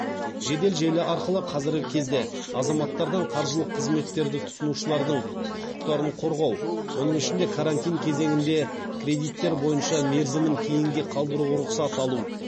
жедел желі арқылы қазіргі кезде азаматтардан қаржылық қызметтерді тұтынушылардың құқықтарын қорғау оның ішінде карантин кезеңінде кредиттер бойынша мерзімін кейінге қалдыруға рұқсат алу